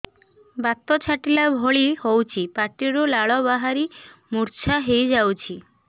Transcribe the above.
ବାତ ଛାଟିଲା ଭଳି ହଉଚି ପାଟିରୁ ଲାଳ ବାହାରି ମୁର୍ଚ୍ଛା ହେଇଯାଉଛି